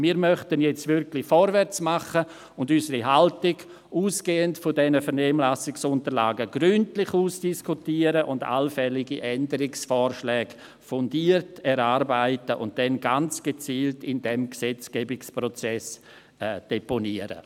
Wir möchten nun wirklich vorwärts machen und unsere Haltung, ausgehend von diesen Vernehmlassungsunterlagen, gründlich ausdiskutieren, allfällige Änderungsvorschläge fundiert erarbeiten und dann ganz gezielt in diesem Gesetzgebungsprozess deponieren.